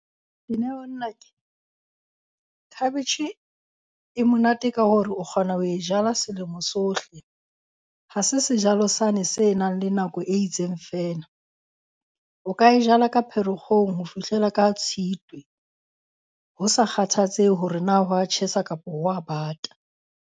Dineo nnake, khabetjhe e monate ka hore o kgona ho e jala selemo sohle, ha se sejalo sane se nang le nako e itseng feela. O ka e jala ka Pherekgong ho fihlela ka Tshitwe. Ho sa kgathatsehe hore na ho a tjhesa kapa ho a bata.